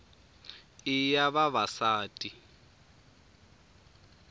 i ya vavasati